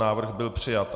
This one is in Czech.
Návrh byl přijat.